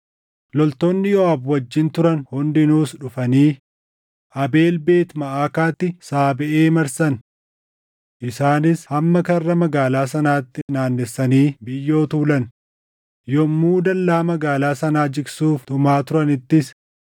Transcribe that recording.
Loltoonni Yooʼaab wajjin turan hundinuus dhufanii Abeel Beet Maʼaakaatti Saabeʼee marsan. Isaanis hamma karra magaalaa sanaatti naannessanii biyyoo tuulan; yommuu dallaa magaalaa sanaa jigsuuf tumaa turanittis,